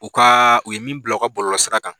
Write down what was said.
U ka u ye min bila u ka bɔlɔlɔ sira kan.